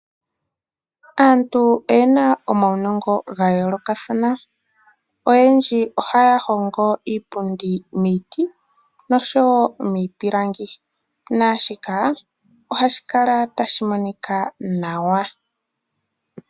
Aantu oyena omaunongo ga yoolokathana. Oyendji ohaya hongo iipundi miiti noshowo miipilangi, naashika ohashi kala tashi monika nawa.